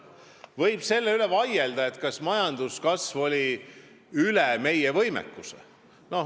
Võib vaielda, kas majanduskasv oli üle meie võimekuse.